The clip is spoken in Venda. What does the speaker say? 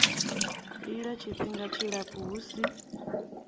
lila tshifhinga tshilapfu hu si